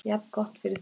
Jafngott fyrir því.